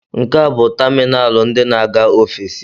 Nkea bụ tamịnalụ ndị na-aga ofesi